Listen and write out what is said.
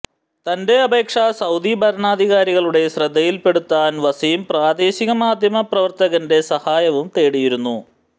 തന്റെ അപേക്ഷ സൌദി ഭരണാധികാരികളുടെ ശ്രദ്ധയിൽ പെടുത്താൻ വസീം പ്രാദേശിക മാധ്യമ പ്രവർത്തകന്റെ സഹായവും തേടിയിരുന്നു